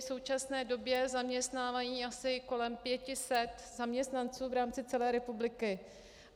V současné době zaměstnávají asi kolem 500 zaměstnanců v rámci celé republiky.